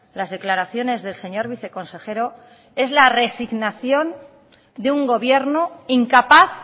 las declaraciones del señor viceconsejero es la resignación de un gobierno incapaz